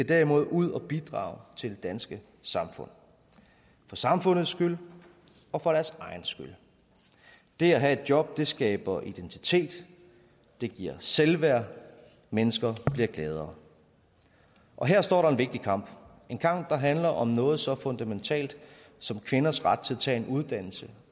derimod ud at bidrage til det danske samfund for samfundets skyld og for deres egen skyld det at have et job skaber identitet det giver selvværd og mennesker bliver gladere og her står der en vigtig kamp det en kamp der handler om noget så fundamentalt som kvinders ret til at tage en uddannelse